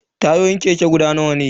Tayoyin keke guda biyu ne.